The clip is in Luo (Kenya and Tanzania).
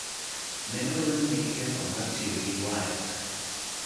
Ne odonjne gi ketho mar tiyo gi waya,